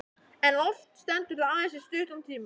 En oft stendur það aðeins í stuttan tíma.